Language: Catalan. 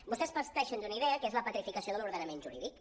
vostès parteixen d’una idea que és la petrificació de l’ordenament jurídic